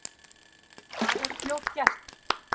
Það er fljótgert.